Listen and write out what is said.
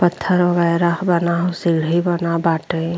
पत्थर वगेरा बना सीढ़ी बना बाटे।